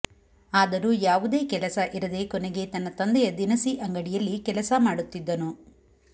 ಆದರೂ ಯಾವುದೇ ಕೆಲಸ ಇರದೆ ಕೊನೆಗೆ ತನ್ನ ತಂದೆಯ ದಿನಸಿ ಅಂಗಡಿಯಲ್ಲಿ ಕೆಲಸ ಮಾಡುತ್ತಿದ್ದನು